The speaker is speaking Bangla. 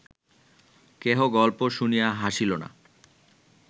কেহ গল্প শুনিয়া হাসিল না